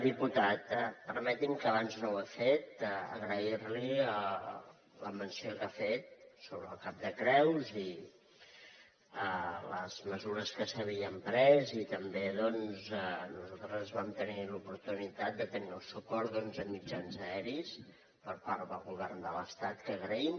diputat permeti’m que abans no ho he fet agrair li la menció que ha fet sobre el cap de creus i les mesures que s’havien pres i també nosaltres vam tenir l’oportunitat de tenir el suport d’onze mitjans aeris per part del govern de l’estat que agraïm